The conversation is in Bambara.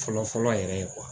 Fɔlɔ fɔlɔ yɛrɛ ye